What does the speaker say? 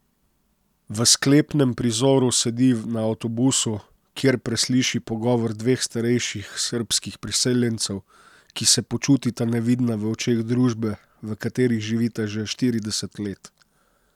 V sklepnem prizoru sedi na avtobusu, kjer presliši pogovor dveh starejših srbskih priseljencev, ki se počutita nevidna v očeh družbe, v kateri živita že štirideset let.